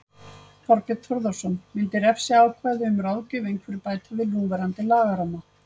Þorbjörn Þórðarson: Myndi refsiákvæði um ráðgjöf einhverju bæta við núverandi lagaramma?